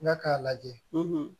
N ka k'a lajɛ